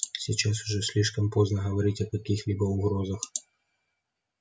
сейчас уже слишком поздно говорить о каких-либо угрозах